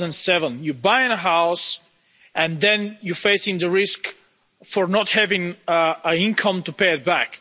2007. You're buying a house and then you're facing the risk of not having an income to pay it back.